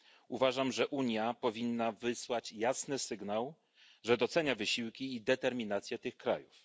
Uważam, że Unia powinna wysłać jasny sygnał, że docenia wysiłki i determinację tych krajów.